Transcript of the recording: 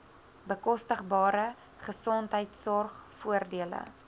bekostigbare gesondheidsorg voordele